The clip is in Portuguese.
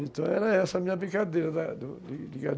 Então era essa a minha brincadeira